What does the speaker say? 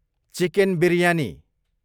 chicken biryani